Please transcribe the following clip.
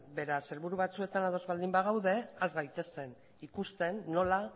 beraz helburu batzuetan ados baldin badaude has gaitezen ikusten nola